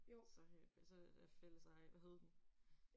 Så har I jo så det da fælleseje. Hvad hed den?